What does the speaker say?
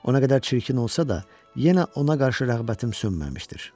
O nə qədər çirkin olsa da, yenə ona qarşı rəğbətim sönməmişdir.